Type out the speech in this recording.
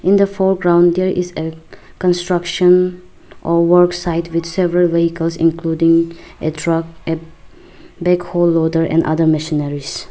in the foreground there is a construction or work site with several vehicles including a truck a backhol loader and other machineries.